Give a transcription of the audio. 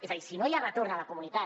és a dir si no hi ha retorn a la comunitat